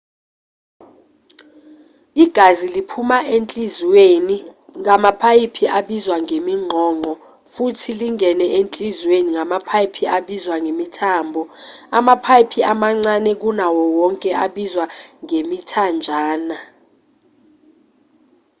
igazi liphuma enhliziyweni ngamapayipi abizwa ngeminqonqo futhi lingene enhliziyweni ngamapayipi abizwa ngemithambo amapayipi amancane kunawo wonke abizwa ngemithanjana